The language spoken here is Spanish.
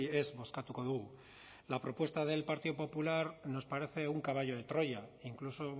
ez bozkatuko dugu la propuesta del partido popular nos parece un caballo de troya incluso